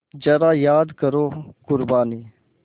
ज़रा याद करो क़ुरबानी